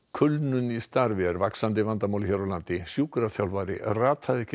kulnun í starfi er vaxandi vandamál hér á landi sjúkraþjálfari rataði ekki